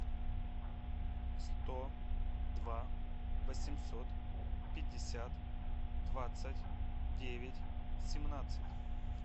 сто два восемьсот пятьдесят двадцать девять семнадцать